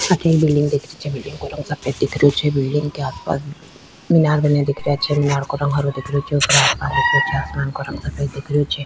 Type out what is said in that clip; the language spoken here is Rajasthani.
अठे बिलडिंग दिख रही छे बिलडिंग का रंग सफ़ेद दिख रही छे बिलडिंग के आस पास मीनार बने देख रहे छे मीनार का रंग हरो दिख रहे छे ऊपर आसमान दिख रह्यो छे आसमान का रंग सफ़ेद दिख रह्यो छे।